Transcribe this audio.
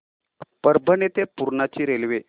परभणी ते पूर्णा ची रेल्वे